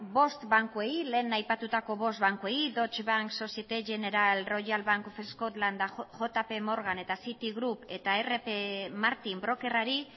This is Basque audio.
bost bankuei lehen aipatutako bost bankuei deutsche bank royal bank of scotland societe generale jpmorgan eta citibank eta rp martin brokerrari